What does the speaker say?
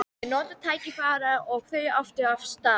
Ég notaði tækifærið og þaut aftur af stað.